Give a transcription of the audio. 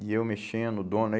E eu mexendo, o dono. Aí